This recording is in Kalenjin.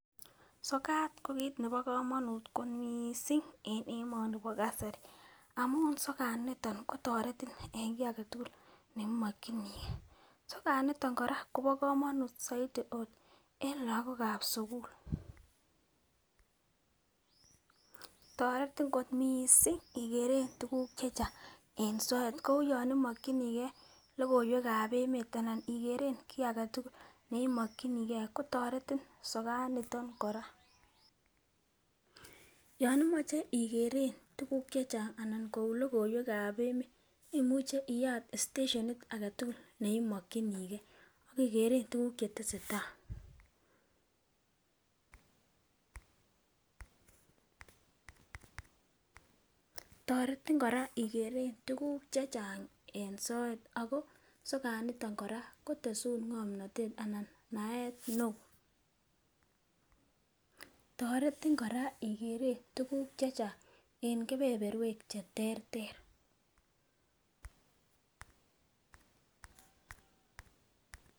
Sokat ko kiit nepo komanut ko mising' eng' emoni nepo kasari amun sokat nitok ko toretin eng' kiy agetugul neimakchinigei sokat nitok koraa kopa komanut saidi ot eng' lagok ap sugul, toretin kot mising' igere tuguk chechang' eng' soket ko uyo imakchini gei logoiwek ab emet anan igere kiy agetugul neimakchinigei gei kotoret in sokat nitok koraa, yon imache igere tuguk chechang' anan kou logoiwek ab emet imuche iyat stationit agetugul neimakchinigei ke gere tuguk chetesetai, toretin koraa igere tuguk chechang' eng soet ago sokat nitok koraa kotesun ng'omnatet anan naet neo, toretin koraa igere tuguk chechang' eng' kepeperwek cheterter.